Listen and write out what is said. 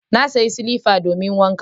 Na sayo silifa domin wanka.